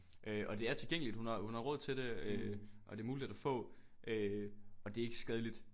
Øh og det er tilgængeligt hun har hun har råd til det øh og det er muligt at få øh og det er ikke skadeligt